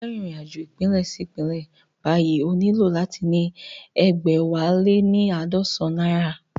Tí o bá fẹ́ rìnrìn-àjò ìpínlẹ̀ sí ìpínlẹ̀ báyìí o nílò láti ní egbẹwaleníaadọsan náírà